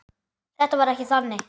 Þetta var ekki þannig.